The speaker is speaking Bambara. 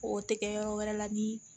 O tɛ kɛ yɔrɔ wɛrɛ la bi